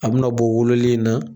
A be na bɔ wololen in na